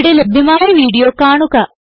ഇവിടെ ലഭ്യമായ വീഡിയോ കാണുക